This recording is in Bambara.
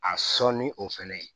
A sɔn ni o fɛnɛ ye